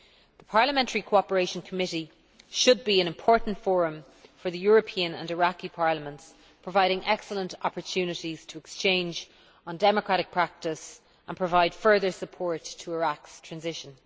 The Parliamentary Cooperation Committee should be an important forum for the European and Iraqi Parliaments, providing excellent opportunities to exchange on democratic practice and provide further support to Iraq's transition.